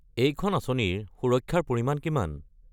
এইখন আঁচনিৰ সুৰক্ষাৰ পৰিমাণ কিমান?